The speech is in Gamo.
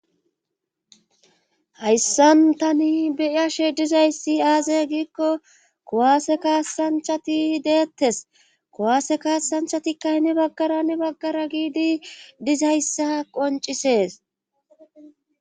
hayssan tani beiyashe dizayssi aaze giikko kuwaase kaasanchati deettes kuwaase kaasanchatika heni baggara hani baggara giidi dizayssa qoncisees